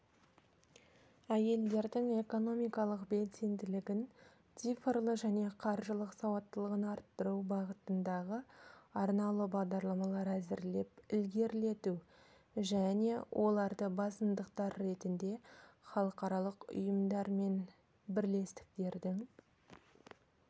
әйелдердің экономикалық белсенділігін цифрлы және қаржылық сауаттылығын арттыру бағытындағы арнаулы бағдарламалар әзірлеп ілгерілету және оларды басымдықтар ретінде халықаралық ұйымдар мен бірлестіктердің